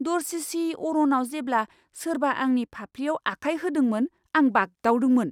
दरसिसि अरनाव जेब्ला सोरबा आंनि फाफ्लिआव आखाय होदोंमोन, आं बागदावदोंमोन!